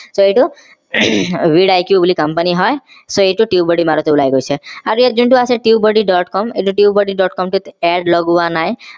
so এইটো vidiq বুলি company হয় so এইটো tubebuddy বুলি মাৰোতেই ওলাই গৈছে আৰু ইয়াত যোনটো আছে tubebuddy. com এইটো tubebuddy. com টোত add লগোৱা নাই